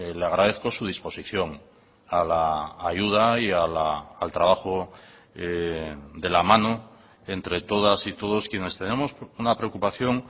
le agradezco su disposición a la ayuda y al trabajo de la mano entre todas y todos quienes tenemos una preocupación